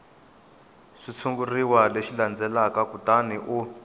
xitshuriwa lexi landzelaka kutani u